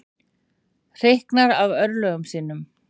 Hreyknar af örlögum sínum.